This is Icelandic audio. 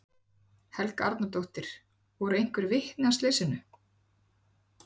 Helga Arnardóttir: Voru einhver vitni að slysinu?